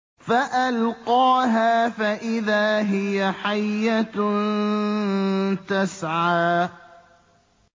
فَأَلْقَاهَا فَإِذَا هِيَ حَيَّةٌ تَسْعَىٰ